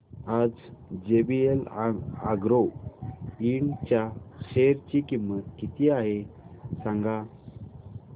आज JVL agro ind च्या share ची किंमत किती आहे सांगा